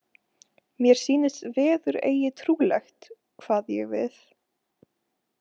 Mér sýnist veður eigi trúlegt, kvað ég við.